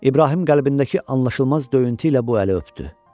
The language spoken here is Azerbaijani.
İbrahim qəlbindəki anlaşılmaz döyüntü ilə bu əli öpdü.